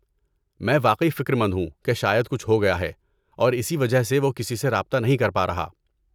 میں واقعی فکرمند ہوں کہ شاید کچھ ہو گیا ہے اور اسی وجہ سے وہ کسی سے رابطہ نہیں کر پا رہا۔